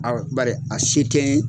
Awɔ, bari a se tɛ n ye.